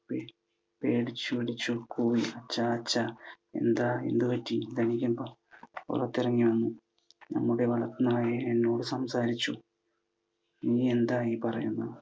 പേടിച്ചു പേടിച്ചു കൂവി. ചാച്ചാ. എന്താ, എന്ത് പറ്റി? ധനികൻ പുറത്തിറങ്ങി വന്നു. നമ്മുടെ വളർത്തു നായ എന്നോട് സംസാരിച്ചു. നീ എന്താ ഈ പറയുന്നത്?